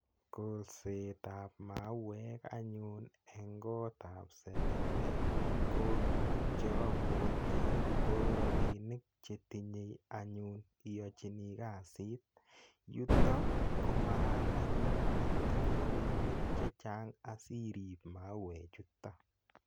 Kolset ap mauek anyun eng' kot ap selele ko tuguk che apwati ko rapinik che tinye anyun iyachini kasit. Yuto ko makat anyun itinye ralinik che chang' asiirip mauechuton.